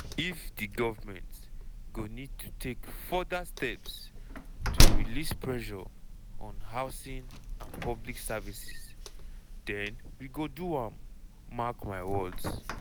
if di govment go need to take further steps to release pressure on housing and public services den we go do am mark my words.